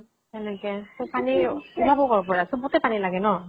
সেনেকে । company কʼৰ পৰা, চবকে পানী লাগে ন ?